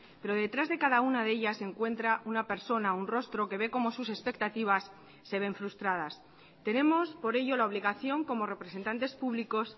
pero detrás de cada una de ellas se encuentra una persona un rostro que ve como sus expectativas se ven frustradas tenemos por ello la obligación como representantes públicos